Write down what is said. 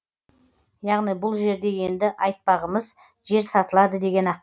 яғни бұл жерде енді айтпағымыз жер сатылады деген